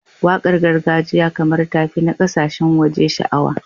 Waƙar gargajiya kamar ta fi na ƙasashen waje sha'awa.